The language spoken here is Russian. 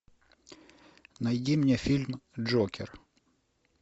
найди мне фильм джокер